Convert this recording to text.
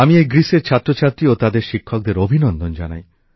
আমি এই গ্রীসের ছাত্র ছাত্রী ও তাদের শিক্ষকদের অভিনন্দন জানাই